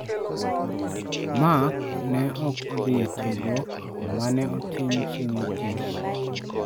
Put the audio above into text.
Mark ne ok odhi e tiegruok ma ne otim chieng' wuok tich.